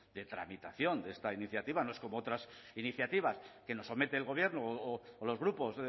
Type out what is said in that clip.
de tramitación de esta iniciativa no es como otras iniciativas que nos somete el gobierno o los grupos